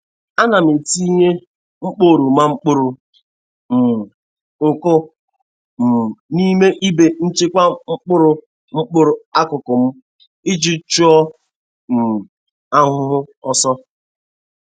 Ana m etinye mkpo oroma kpọrọ um nkụ um n'ime igbe nchekwa mkpụrụ mkpụrụ akụkụ m iji chụọ um ahụhụ ọsọ.